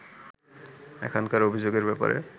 এখনকার অভিযোগের ব্যাপারে